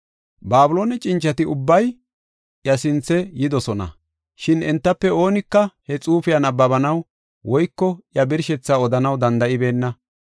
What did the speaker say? Babiloone cincati ubbay iya sinthe yidosna; shin entafe oonika he xuufiya nabbabanaw woyko iya birshethaa odanaw danda7ibeenna.